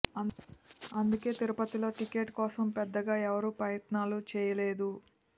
అందుకే తిరుపతిలో టికెట్ కోసం పెద్దగా ఎవరూ ప్రయత్నాలు చేయలేదు